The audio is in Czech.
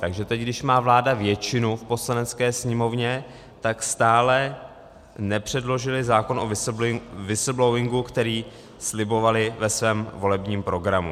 Takže teď, když má vláda většinu v Poslanecké sněmovně, tak stále nepředložili zákon o whistleblowingu, který slibovali ve svém volebním programu.